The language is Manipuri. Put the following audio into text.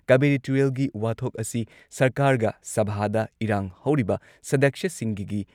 ꯀꯥꯕꯦꯔꯤ ꯇꯨꯔꯦꯜꯒꯤ ꯋꯥꯊꯣꯛ ꯑꯁꯤ ꯁꯔꯀꯥꯔꯒ ꯁꯚꯥꯗ ꯏꯔꯥꯡ ꯍꯧꯔꯤꯕ ꯁꯗꯛꯁ꯭ꯌꯁꯤꯡꯒꯒꯤ